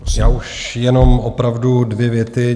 Já už jenom opravdu dvě věty.